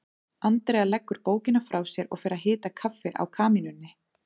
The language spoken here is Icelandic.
Andrea leggur bókina frá sér og fer að hita kaffi á kamínunni.